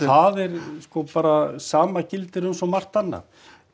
það er sko bara sama gildir um svo margt annað